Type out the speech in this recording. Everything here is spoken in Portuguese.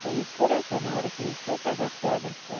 Foi o Poraquê, na hora que ele foi pegar pedra, sabe?